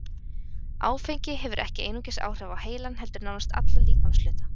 Áfengi hefur ekki einungis áhrif á heilann heldur nánast alla líkamshluta.